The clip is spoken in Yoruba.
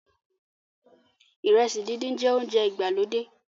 iresi dindin jẹ ounjẹ ìgbàlódé